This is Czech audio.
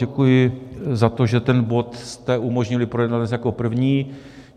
Děkuji za to, že ten bod jste umožnili projednat hned jako první.